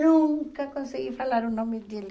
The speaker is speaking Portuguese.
Nunca consegui falar o nome dele.